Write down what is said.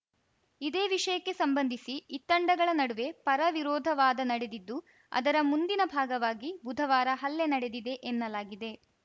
ಇದೇ ವಿಷಯಕ್ಕೆ ಸಂಬಂಧಿಸಿ ಇತ್ತಂಡಗಳ ನಡುವೆ ಪರ ವಿರೋಧ ವಾದ ನಡೆದಿದ್ದು ಅದರ ಮುಂದಿನ ಭಾಗವಾಗಿ ಬುಧವಾರ ಹಲ್ಲೆ ನಡೆದಿದೆ ಎನ್ನಲಾಗಿದೆ